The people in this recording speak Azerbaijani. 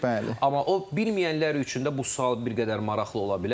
Təxmin etmək olur, bəli, amma o bilməyənlər üçün də bu sual bir qədər maraqlı ola bilər.